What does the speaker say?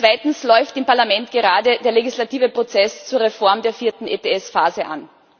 Zweitens läuft im Parlament gerade der legislative Prozess zur Reform der vierten ETS Phase an.